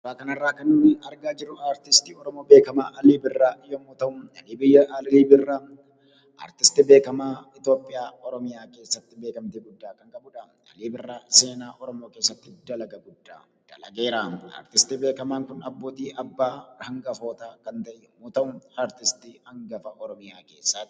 Suuraa kanarraa kan nuti argaa jirru artistii Oromoo beekamaa, Alii birraa yommuu ta'um, Alii Birraa artistii beekamaa Itoophiyaa, Oromiyaa keessatti beekamtii guddaa kan qabu dhaa. Alii Birraa seenaa Oromoo keessatti dalaga guddaa dalageeraam. Artistii beekamaan kun abbootii abbaa hangafootaa kan ta'e yommuu ta'u, artistii hangafa Oromiyaa keessaati.